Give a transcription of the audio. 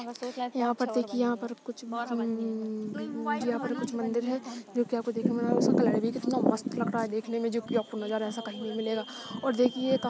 यहाँ पर देखिए यहाँ पर कुछ अम्मम्म यहाँ पर कुछ मंदिर है जोकि आपको देखने मिल रहा है उसमें कलर भी कितना मस्त लग रहा है देखने में जोकि आपको नज़ारा ऐसा कही नहीं मिलेगा और देखिये--